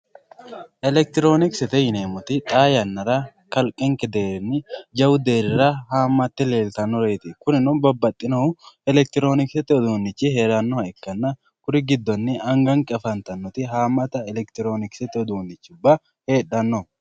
elekitiroonikisete yineemmoti xaa yannara kalqenke deerrinni jawu deerrira haammatte leeltannoreeti kurino babbanohu elekitiroonikisete uduunnichi heerannoha ikkanna kuri giddonni angannke afantannoti haammata elekitiroonikisete uduunnichubba heedhanno.